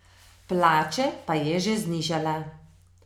Plače pa je že znižala.